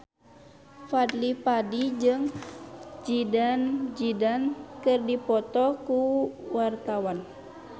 Fadly Padi jeung Zidane Zidane keur dipoto ku wartawan